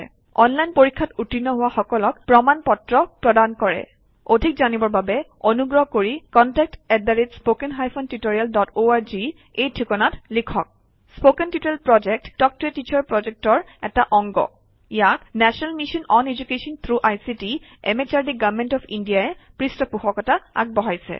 online পৰীক্ষাত উত্তীৰ্ণ হোৱা সকলক প্ৰমাণ পত্ৰ প্ৰদান কৰে অধিক জানিবৰ বাবে অনুগ্ৰহ কৰি contact at spoken hyphen tutorial dot org এই ঠিকনাত লিখক কথন শিক্ষণ প্ৰকল্প তাল্ক ত a টিচাৰ প্ৰকল্পৰ এটা অংগ ইয়াক national mission on education through ICT MHRD government of India ই পৃষ্ঠপোষকতা আগবঢ়াইছে